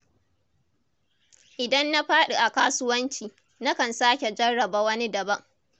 Idan na faɗi a kasuwanci, na kan sake jarraba wani daban